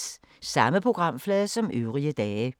Samme programflade som øvrige dage